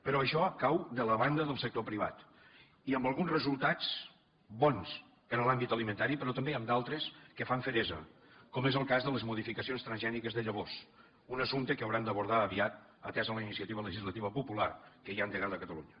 però això cau de la banda del sector privat i amb alguns resultats bons per a l’àmbit alimentari però també amb d’altres que fan feresa com és el cas de les modificacions transgèniques de llavors un assumpte que haurem d’abordar aviat atesa la iniciativa legislativa popular que hi ha endegada a catalunya